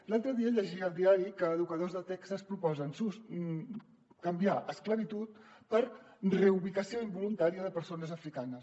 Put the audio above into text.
l’altre dia llegia al diari que educadors de texas proposen canviar esclavitud per reubicació involuntària de persones africanes